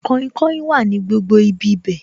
Kainkain wà ní gbogbo ibi bẹ̀